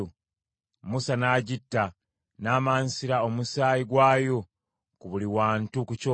Musa n’agitta, n’amansira omusaayi gwayo buli wantu ku kyoto.